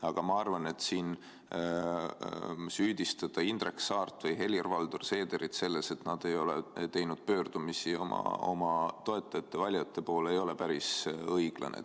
Aga ma arvan, et siin süüdistada Indrek Saart või Helir-Valdor Seederit selles, et nad ei ole teinud pöördumisi oma toetajate, valijate poole, ei ole päris õiglane.